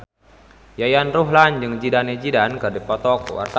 Yayan Ruhlan jeung Zidane Zidane keur dipoto ku wartawan